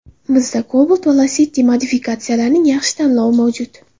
Bizda Cobalt va Lacetti modifikatsiyalarining yaxshi tanlovi mavjud.